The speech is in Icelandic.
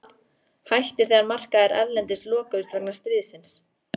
Hætti þegar markaðir erlendis lokuðust vegna stríðsins.